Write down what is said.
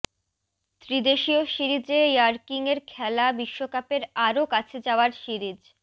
ত্রিদেশীয় সিরিজে র্যাঙ্কিংয়ের খেলা বিশ্বকাপের আরও কাছে যাওয়ার সিরিজ